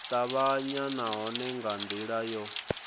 tavhanya nahone nga ndila yo